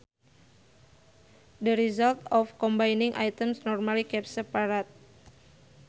The result of combining items normally kept separate